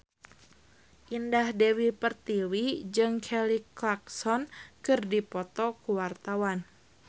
Indah Dewi Pertiwi jeung Kelly Clarkson keur dipoto ku wartawan